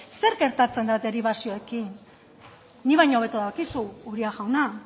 zer gertatzen da deribazioekin nik baino hobeto dakizu uria jauna